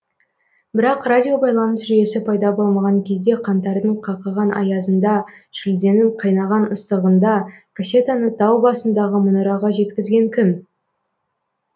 бірақ радиобайланыс жүйесі пайда болмаған кезде қаңтардың қақаған аязында шілденің қайнаған ыстығында кассетаны тау басындағы мұнараға жеткізген кім